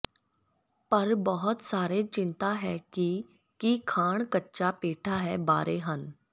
ਪਰ ਬਹੁਤ ਸਾਰੇ ਚਿੰਤਾ ਹੈ ਕਿ ਕੀ ਖਾਣ ਕੱਚਾ ਪੇਠਾ ਹੈ ਬਾਰੇ ਹਨ